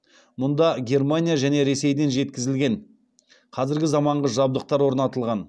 мұнда германия және ресейден жеткізілген қазіргі замаңғы жабдықтар орнатылған